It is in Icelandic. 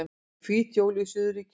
Hvít jól í suðurríkjunum